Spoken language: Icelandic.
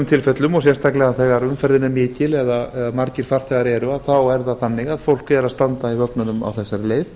tilfellum og sérstaklega þegar umferðin er mikil eða margir farþegar eru þá er það þannig að fólk er að standa í vögnunum á þessari leið